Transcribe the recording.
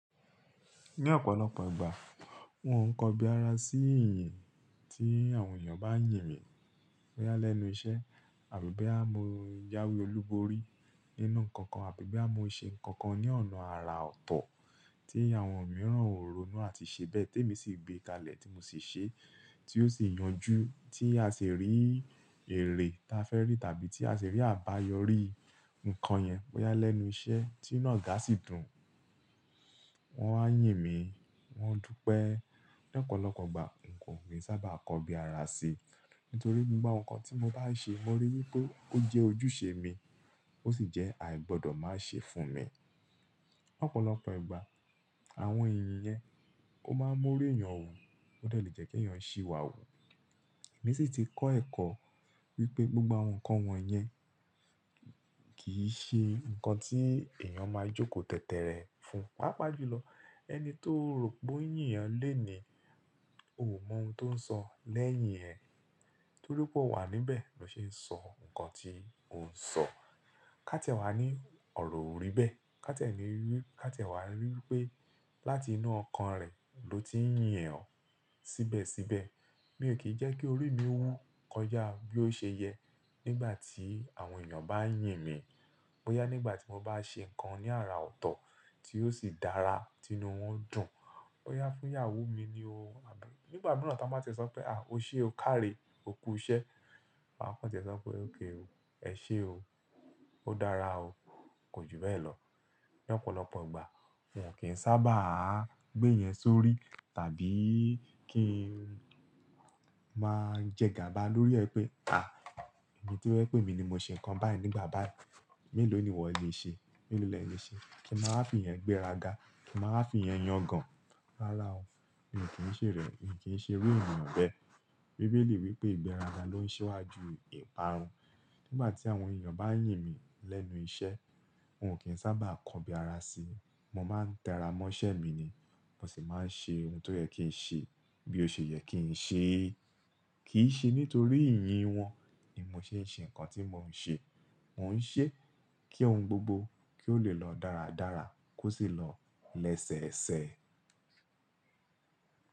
Ní ọ̀pọ̀lọpọ̀ ìgbà, n ò n kọbi ara sí yìnyín tí àwọn ènìyàn bá ń yìn mí bọ́yá lẹ́nu iṣẹ́ àbí boyà mọ́ jawe olúborí nínú nǹkan kan àbí boya mọ́ mo ṣe nǹkan kan ní ọ̀nà ara ọ̀tọ̀ tí àwọn mìíràn ò ronú àti ṣe bẹ́ẹ̀, tèmi sì gbé kalẹ̀ tí mo sì ṣe, tí ó sì yanjú tí a sì rí èrè ta fẹ́ rí tàbí tí a sì rí àbáyọrí nǹkan yẹn bọ́yá lẹ́nu iṣẹ́ tí inu ọ̀gá sì dùn, wọ́n a yìn mí, wọ́n dúpẹ́. Ní ọ̀pọ̀lọpọ̀ ìgbà n kò mí sá bá kọbi ara sí, nítorí gbogbo nǹkan tí mo bá ṣe, mo ríi wípé ó jẹ́ ojúṣe mi, ó sì jẹ́ àìgbọ́dọ̀ má ṣe fún mi. Ọ̀pọ̀lọpọ̀ ìgbà àwọn yìnyín yẹn ó máa ń mú orí èèyàn wù, ó delé jẹ́ kí èèyàn ṣìwà wù. Èmi sì ti kọ́ ẹ̀kọ́ wípé gbogbo àwọn nǹkan wọ̀nyẹn kì í ṣe nǹkan tí èèyàn máa jókòó tètè rẹ fún. Pápá jùlọ, ẹni tó rò pé oo yín èèyàn lẹ́ẹ̀ni ò mọ ohun tó ń sọ lẹ́yìn ẹ, torípé ó wà níbẹ̀ ló ṣe ń sọ nǹkan tí òun ń sọ. Kátiẹ́ wà ní ọ̀rọ̀ ò rí bẹ́ẹ̀, kátiẹ́ wà wípé láti inú ọkàn rẹ̀ ló ti ń yìn ẹ́ ọ̀ síbẹ̀síbẹ̀. Mi ò kí jẹ́ kí orí mi wú kọjá bí ó ṣe yẹ nígbà tí àwọn ènìyàn bá yìn mí. Bọ́yá nígbà tí mo bá ṣe nǹkan ní ara ọ̀tọ̀ tí ó sì dára tí inú wọn dùn, bọ́yá fún ìyàwó mi ni o, nígbà mìíràn táa máa tẹ̀ sọ pé, à o ṣe o, kárí, o kú iṣẹ́. Wa kàn tẹ̀ sọ pé, ok o, ẹ ṣé o, ó dára o, kò jù bẹ́ẹ̀ lọ. Ní ọ̀pọ̀lọpọ̀ ìgbà uno kín sábà gbé ìyẹn sórí tàbí kí n máa jẹ gàba lórí ẹ pé, à ẹmi tó jẹ pé emi ni mo ṣe nǹkan báyìí nígbà báyìí. Méèló ni ìwọ lè ṣe? Méèló ni ẹ lè ṣe? Kò máa fi ìyẹn gbẹ́ra gà, kò máa fi ìyẹn yangàn. Rárá o, èmi kì í ṣe rẹ̀, èmi kì í ṣe iru èeyàn bẹ́ẹ̀. Bíbélì wípé ìgbẹ́ra ló ń ṣiwá ju ìparun. Nígbà tí àwọn èeyàn bá yìn mí lẹ́nu iṣẹ́, unò kín sábà kọbi ara sí, mo máa ń tẹra mọ́ṣẹ́ mi ni, mo sì máa ń ṣe ohun tó yẹ kí n ṣe bí ó ṣe yẹ kí n ṣe. Kì í ṣe nítorí yìnyín wọn ni mò ṣe ń ṣe nǹkan tí mò ń ṣe, mò ń ṣe kí ohun gbogbo kí ó lè lọ dáradára kó sì lọ lẹ́sẹẹsẹ.